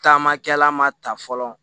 Taamakɛla ma ta fɔlɔ